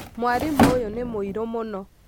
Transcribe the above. mwarimũ ũyũ nĩ mũirũ mũno